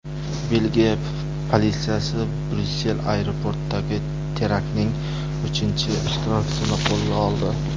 Belgiya politsiyasi Bryussel aeroportidagi teraktning uchinchi ishtirokchisini qo‘lga oldi.